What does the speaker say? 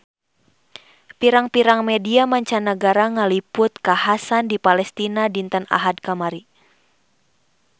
Pirang-pirang media mancanagara ngaliput kakhasan di Palestina dinten Ahad kamari